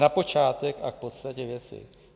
Na počátek a k podstatě věci.